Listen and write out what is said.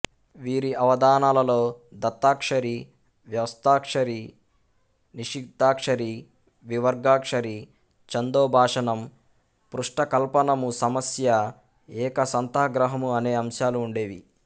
వీరి అవధానాలలో దత్తాక్షరి వ్యస్తాక్షరి నిషిద్ధాక్షరి వివర్గాక్షరి ఛందోభాషణం పృష్టకల్పనము సమస్య ఏకసంథాగ్రహము అనే అంశాలు ఉండేవి